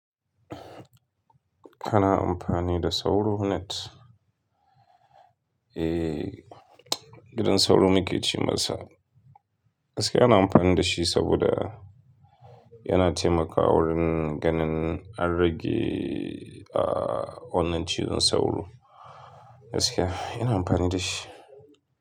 Kana amfani da sauro net? Eh, gidan sauro muke ce masa. Gaskiya ana amfani da shi saboda yana taimakawa wurin ganin an rage, ah, wannan cizon sauro. Gaskiya ina amfani da shi.